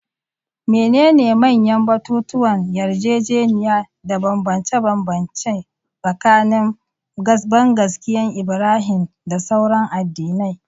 Menene manyan batutuwan yarjejeniya da bambance-bambance tsakanin bangaskiyar Ibrahim da sauran addinai?